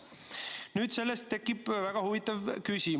Nüüd, sellest tekib väga huvitav küsimus.